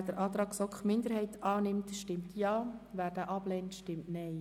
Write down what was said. Wer den Antrag GSoK-Minderheit annimmt, stimmt Ja, wer ihn ablehnt, stimmt Nein.